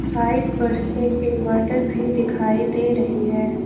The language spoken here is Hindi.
साइट पर एक इनवर्टर भी दिखाई दे रही है।